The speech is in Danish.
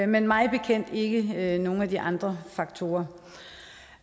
men mig bekendt ikke nogen af de andre faktorer